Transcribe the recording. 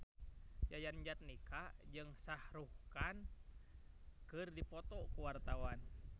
Yayan Jatnika jeung Shah Rukh Khan keur dipoto ku wartawan